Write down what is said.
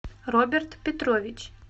роберт петрович